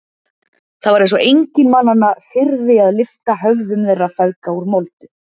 Það var eins og enginn mannanna þyrði að lyfta höfðum þeirra feðga úr moldu.